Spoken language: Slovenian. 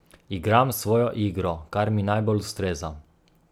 Igram svojo igro, kar mi najbolj ustreza.